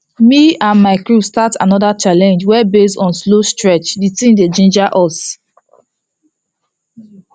me and my crew start another challenge wey base on slow stretch the thing dey ginger us